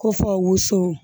Ko fɔ woso